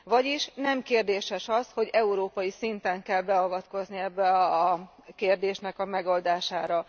Vagyis nem kérdéses az, hogy európai szinten kell beavatkozni ennek a kérdésnek a megoldásába.